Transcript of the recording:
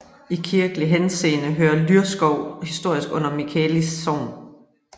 I kirkelig henseende hører Lyrskov historisk under Michaelis Sogn